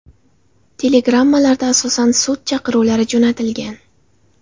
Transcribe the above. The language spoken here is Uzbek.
Telegrammalarda asosan sud chaqiruvlari jo‘natilgan.